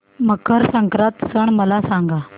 मकर संक्रांत सण मला सांगा